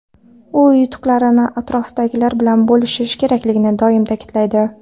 U yutuqlarni atrofdagilar bilan bo‘lishish kerakligini doim ta’kidlaydi.